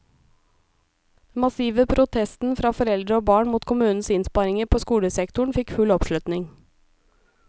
Den massive protesten fra foreldre og barn mot kommunens innsparinger på skolesektoren fikk full oppslutning.